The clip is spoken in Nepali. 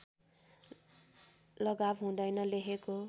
लगाव हुँदैन लेखको